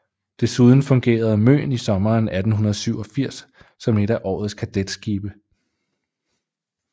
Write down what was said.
Desuden fungerede Møen i sommeren 1887 som et af årets kadetskibe